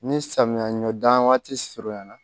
Ni samiya ɲɔ dan waati surunya na